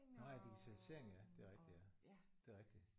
Nåh ja digitalisering ja det er rigtigt ja det er rigtigt